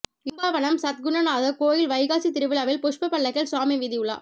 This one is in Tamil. இடும்பாவனம் சத்குணநாத கோயில் வைகாசி திருவிழாவில் புஷ்ப பல்லக்கில் சுவாமி வீதியுலா